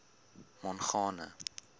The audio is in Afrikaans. mongane